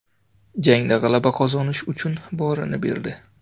Jangda g‘alaba qozonish uchun borini berdi.